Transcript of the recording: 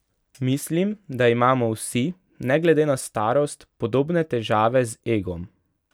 Mislim, da imamo vsi, ne glede na starost, podobne težave z egom.